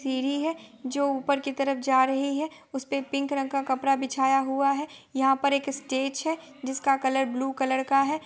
सीढ़ी है जो ऊपर की तरफ जा रही है| उसपे पिंक रंग का कपड़ा बिछाया हूआ है| यहाँ पर एक स्टेज है जिसका कलर ब्लू कलर का है।